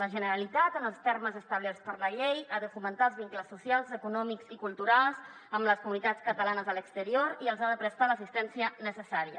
la generalitat en els termes establerts per la llei ha de fomentar els vincles socials econòmics i culturals amb les comunitats catalanes a l’exterior i els ha de prestar l’assistència necessària